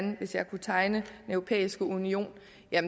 hvis jeg kunne tegne europæiske union